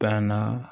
Banna